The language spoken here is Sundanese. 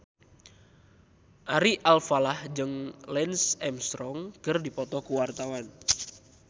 Ari Alfalah jeung Lance Armstrong keur dipoto ku wartawan